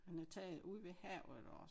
Han havde taget ude ved havet og